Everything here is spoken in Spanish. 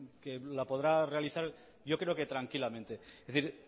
que la podrá realizar yo creo que tranquilamente es decir